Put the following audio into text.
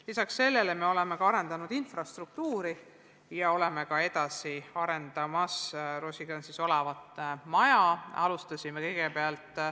Lisaks sellele oleme arendanud infrastruktuuri ja arendame edasi ka Roosikrantsi tänaval asuvat maja.